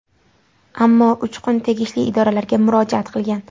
Ammo Uchqun tegishli idoralarga murojaat qilgan.